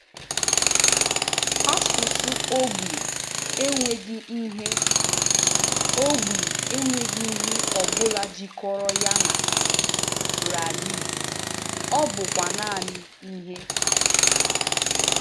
Asụsụ ogbi enweghị ihe ogbi enweghị ihe ọ bụla jikọrọ ya na Braịllee, ọ bụkwa nanị ihe atụ.